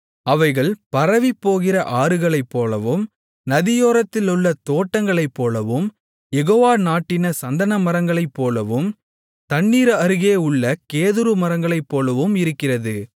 அவைகள் பரவிப்போகிற ஆறுகளைப்போலவும் நதியோரத்திலுள்ள தோட்டங்களைப்போலவும் யெகோவா நாட்டின சந்தனமரங்களைப்போலவும் தண்ணீர் அருகே உள்ள கேதுரு மரங்களைப்போலவும் இருக்கிறது